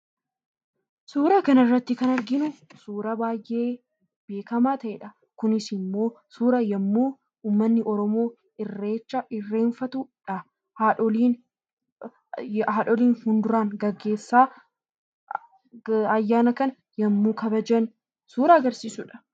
Suuraa kanarratti kan arginu suuraa baay'ee beekamaa ta'ee dha. Kunis immoo suuraa yommuu ummanni Oromoo irreecha irreenfatu dha. Haadholiin haadholiin fuunduraan geggeessaa ayyaana kana yommuu kabajan suuraa agarsiisu dha.